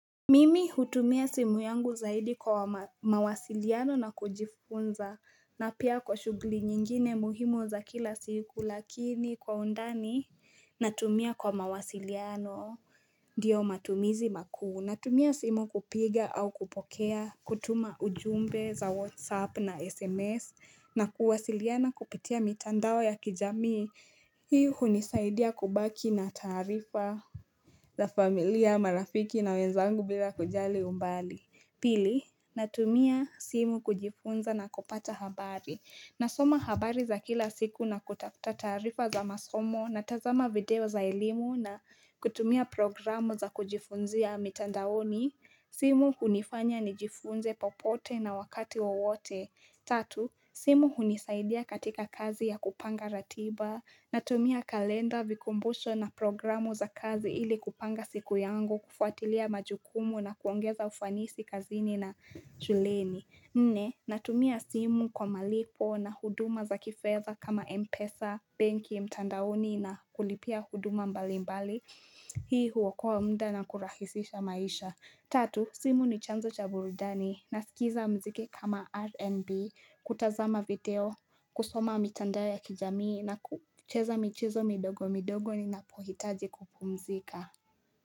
Mimi hutumia simu yangu zaidi kwa mawasiliano na kujifunza na pia kwa shuguli nyingine muhimu za kila siku lakini kwa undani natumia kwa mawasiliano diyo matumizi makuu natumia simu kupiga au kupokea kutuma ujumbe za whatsapp na sms na kuwasiliana kupitia mitandao ya kijami hii unisaidia kubaki na taarifa la familia, marafiki na wenzangu bila kujali umbali Pili, natumia simu kujifunza na kupata habari nasoma habari za kila siku na kutafuta taarifa za masomo Natazama video za elimu na kutumia programu za kujifunzia mitandaoni simu hunifanya ni jifunze popote na wakati wowote Tatu, simu hunisaidia katika kazi ya kupanga ratiba Natumia kalenda vikumbusho na programu za kazi ili kupanga siku yangu kufuatilia majukumu na kuongeza ufanisi kazini na shuleni Nne, natumia simu kwa malipo na huduma za kifedha kama Mpesa, banki mtandaoni na kulipia huduma mbali mbali Hii huokoa mda na kurahisisha maisha Tatu, simu ni chanzo cha burudani na sikiza mziki kama RNB, kutazama video, kusoma mitandao ya kijamii na kucheza michezo midogo midogo ni napohitaji kupumzika.